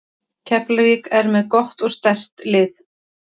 Keflavík er með gott og sterkt lið.